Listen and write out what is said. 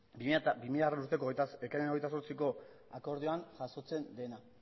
bi milagarrena urteko ekainaren hogeita zortziko akordioan jasotzen dena